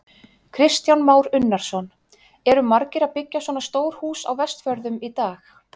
Kristján Már Unnarsson: Eru margir að byggja svona stór hús á Vestfjörðum í dag?